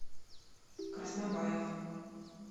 краснобаев